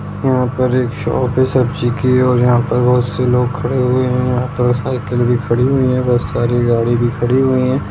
यहाँ पर एक शॉप है सब्जी की और यहाँ पर बहुत से लोग खड़े हुए है यहाँ पर साइकिल भी खड़ी हुई है बहुत सारी गाड़ी भी खड़ी हुई है।